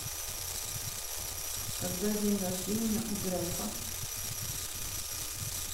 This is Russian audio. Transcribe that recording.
когда день рождение у грефа